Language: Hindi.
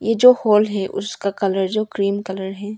यह जो हॉल है उसका कलर जो ग्रीन कलर है।